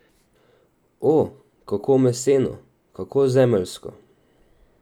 O, kako meseno, kako zemeljsko.